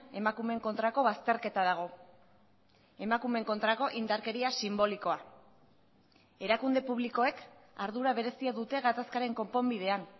emakumeen kontrako bazterketa dago emakumeen kontrako indarkeria sinbolikoa erakunde publikoek ardura berezia dute gatazkaren konponbidean